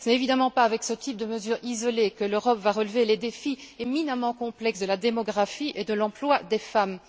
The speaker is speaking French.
Ce n'est évidemment pas avec ce type de mesure isolée que l'Europe va relever les défis éminemment complexes de la démographie et de l'emploi des femmes.